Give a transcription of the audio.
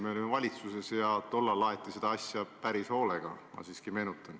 Me olime valitsuses ja ma siiski meenutan, et tollal aeti seda asja päris hoolega.